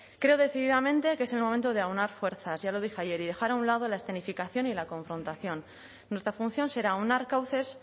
creo decididamente que es el momento de aunar fuerzas ya lo dije ayer y dejar a un lado la escenificación y la confrontación nuestra función será aunar cauces